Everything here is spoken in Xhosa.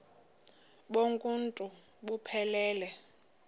bonk uuntu buphelele